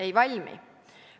Ei valmi.